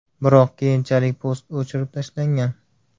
Biroq keyinchalik post o‘chirib tashlangan.